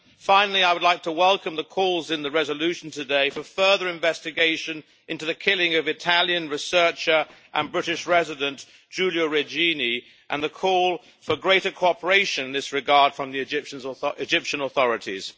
Finally, I would like to welcome the calls in the resolution today for further investigation into the killing of Italian researcher and British resident, Giulio Regini, and the call for greater cooperation in this regard from the Egyptian authorities.